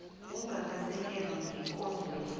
ongakasekelwa wekondlo le